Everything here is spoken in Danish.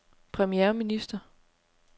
premierminister